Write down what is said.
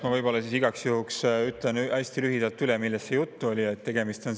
Ma igaks juhuks ütlen hästi lühidalt üle, millest selles juttu on.